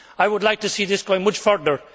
I would like to see this going much further.